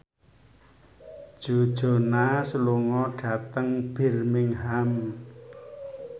Joe Jonas lunga dhateng Birmingham